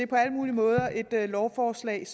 på alle mulige måder et lovforslag